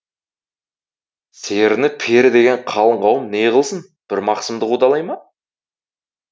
серіні пері деген қалың қауым не ғылсын бір мақсымды қудалай ма